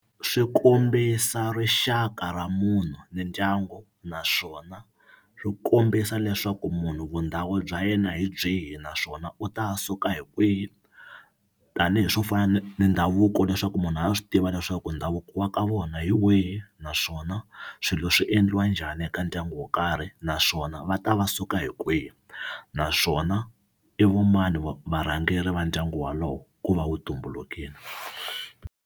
Swi kombisa rixaka ra munhu ni ndyangu naswona swi kombisa leswaku munhu vundhawu bya yena hi byihi naswona u ta suka hi kwihi tanihi swo fana ni ni ndhavuko leswaku munhu a swi tiva leswaku ndhavuko wa ka vona hi wihi naswona swilo swi endliwa njhani eka ndyangu wo karhi naswona va ta va suka hi kwihi naswona i vo mani varhangeri va ndyangu walowo ku va wu tumbulukile.